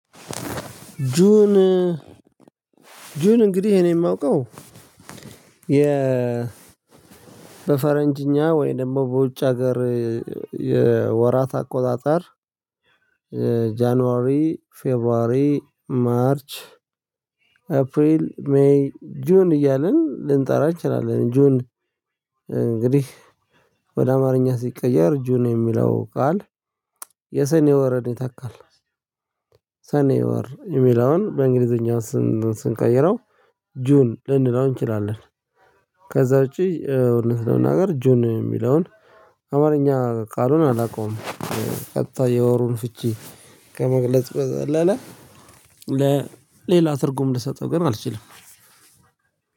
ጁን እንግዲህ እኔ የማውቀው የ በፈረንጅኛ ወይ ደግሞ በውጭ ሀገር የወራት አቆጣጠር ጃንዋሪ ፌብሩዋሪ ማርች አፕሪል ሜይ ጁን እያልን ልንጠራ እንችላለን ጆን። እንግዲህ ወደ አማርኛ ሲቀየር ጁኑ የሚለው ቃል የሰኔ ወረን ይተካል ሰኔ ወር የሚላውን በእንግሊዘኛ ስንቀይረው ጁን ልንለው እንችላለን። ከዛ ውጪ እውነት ነው መናገር ጁን የሚለውን አማርኛ ቃሉን አላውቀውም ቀጥታ የወሩን ፍቺ ከመግለጽ በዘለለ ለሌላ ትርጉም ልሰጠው ግን አልችልም።